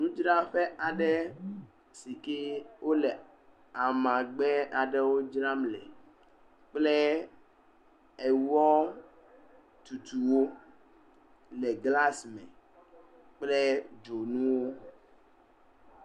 Nu dzraƒe aɖe sike wole ama gbe aɖewo dzram le, kple ewɔ tutu wo le glas me kple dzonuwo.